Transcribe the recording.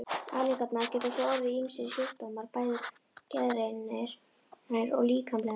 Afleiðingarnar geta svo orðið ýmsir sjúkdómar, bæði geðrænir og líkamlegir.